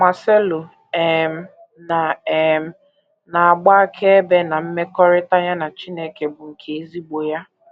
Marcelo um na um na - agba akaebe na mmekọrịta ya na Chineke bụ nke ezigbo ya.